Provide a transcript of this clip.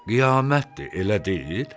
Qiyamətdir, elə deyil?